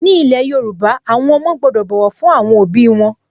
Ní ilẹ̀ Yorùbá, àwọn ọmọ gbọ́dọ̀ bọ̀wọ̀ fún àwọn òbí wọn